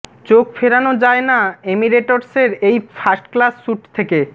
চোখ ফেরানো যায় না এমিরেটসের এই ফার্স্ট ক্লাস স্যুট থেকে